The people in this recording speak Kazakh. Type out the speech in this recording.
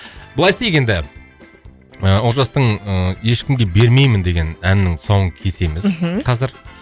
былай істейік енді олжастың ыыы ешкімге бермеймін деген әнінің тұсауын кесеміз мхм қазір